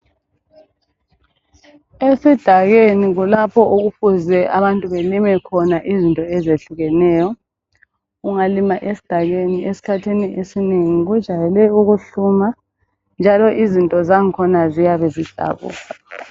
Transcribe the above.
Esidakeni kulapho okufuze abantu balime khona izinto ezehlukeneyo. Ungalima esidakeni, esikhathini esinengi, kujayele ukuyahluma, njalo izinto zakhona ziyabe zidouble.